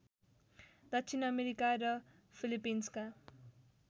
दक्षिण अमेरिका र फिलिपिन्सका